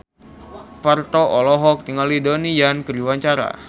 Parto olohok ningali Donnie Yan keur diwawancara